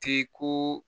K'i ko